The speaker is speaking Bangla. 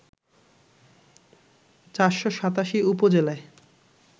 ৪৮৭ উপজেলায়